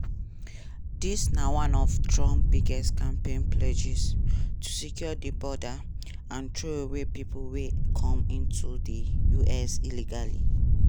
dis na one of trump biggest campaign pledges – to secure di border and throway pipo wey come into di us illegally.